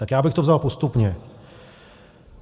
Tak já bych to vzal postupně.